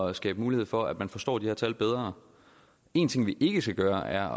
at skabe mulighed for at man forstår de her tal bedre en ting vi ikke skal gøre er